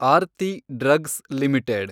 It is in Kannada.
Aarti drugs limited